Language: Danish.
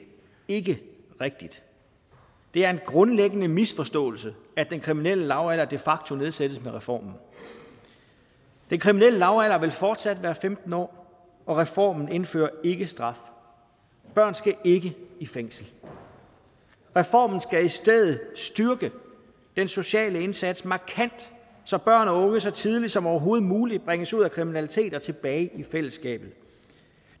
ikke rigtigt det er en grundlæggende misforståelse at den kriminelle lavalder de facto nedsættes med reformen den kriminelle lavalder vil fortsat være femten år og reformen indfører ikke straf børn skal ikke i fængsel reformen skal i stedet styrke den sociale indsats markant så børn og unge så tidligt som overhovedet muligt bringes ud af kriminalitet og tilbage i fællesskabet